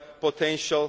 potential.